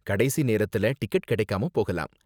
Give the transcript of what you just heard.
கடைசி நேரத்துல டிக்கெட் கிடைக்காம போகலாம்.